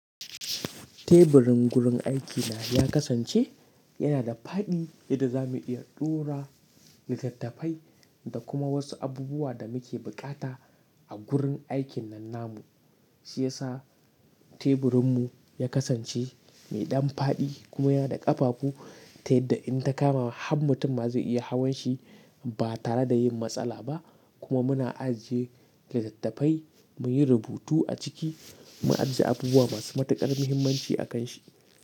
Teburin gurin aikina ya kasance yana da faɗi yadda za mu iya ɗora litattafai da kuma wasu abubuwa da muke bukata a gurin aikin nan namu. Shi ya sa teburinmu ya kasance mai ɗan faɗi kuma yana da ƙafafu ta yadda in ta kama har mutum ma zai iya hawan shi ba tare da yin matsala ba. Kuma muna ajiye litattafai, muyi rubutu a ciki, mu ajiye abubuwa masu matuƙar muhimmanci a kan shi.